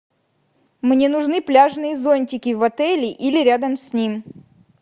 мне нужны пляжные зонтики в отеле или рядом с ним